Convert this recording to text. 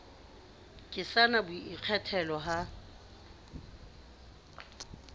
ke sa na boikgethelo ha